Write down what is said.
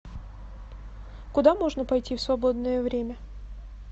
куда можно пойти в свободное время